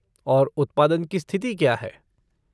और उत्पादन की स्थिति क्या है?